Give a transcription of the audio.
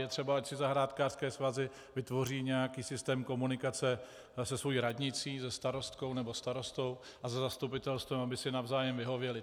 Je třeba, ať si zahrádkářské svazy vytvoří nějaký systém komunikace se svou radnicí, se starostkou nebo starostou a se zastupitelstvem, aby si navzájem vyhověli.